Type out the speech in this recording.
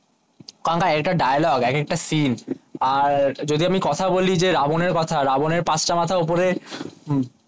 কারণ এক একটা ডায়লগে এক একটা সিন আর যদি আমি কথা বলি যে রাবনের কথা রাবনের পাঁচ মাথা ওপরে হম